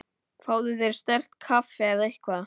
Fáðu þér sterkt kaffi eða eitthvað.